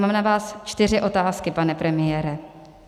Mám na vás čtyři otázky, pane premiére.